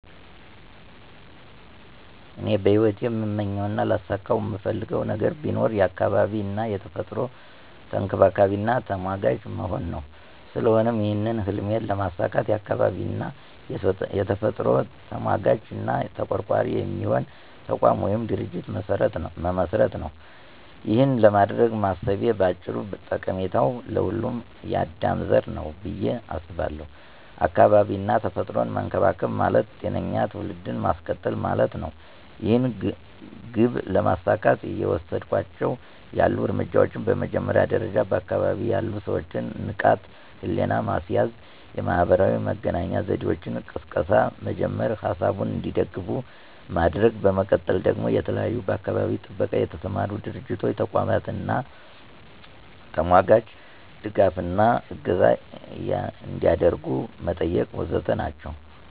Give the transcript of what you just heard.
እኔ በሂወቴ እምመኘው እና ላሳከው እምፈልገው ነገር ቢኖር የአካባቢ እና የተፈጥሮ ተንከባካቢና ተሟጋች መሆን ነው። ስለሆነም ይህን ህልሜን ለማሳካት የአካባቢ እና የተፈጥሮ ተሟጋች እና ተቆርቋሪ የሚሆን ተቋም ወይም ድርጅት መመስረት ነው። ይኸን ለማድረግ ማሰቤ ባጭሩ ጠቀሜታው ለሁሉም የአዳም ዘር ነው ብየ አስባለው። አካባቢ እና ተፈጥሮን መንከባከብ ማለት ጤነኛ ትውልድን ማስቀጠል ማለት ነው። ይህን ግብ ለማሳካት እየወሰድኳቸው ያሉ እርምጃዎች በመጀመሪያ ደረጃ በአካባቢ ያሉ ሰወችን ንቃተ ህሊና ማስያዝ፣ የማህበራዊ መገናኛ ዘዴወች ቅስቀሳ መጀመር፥ ሀሳቡ እንዲደግፍ ማድረግ፤ በመቀጠል ደግሞ በተለያዩ በአካባቢ ጥበቃ የተሰማሩ ድርቶች፥ ተቋማት አና ተሟጋቾች ድጋፍ እና እገዛ አንዲያደርጉ መጠየቅ ወዘተ ናቸው።